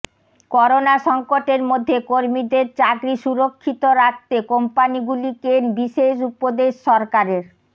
corona সংকটের মধ্যে কর্মীদের চাকরি সুরক্ষিত রাখতে কোম্পানিগুলিকে বিশেষ উপদেশ সরকারের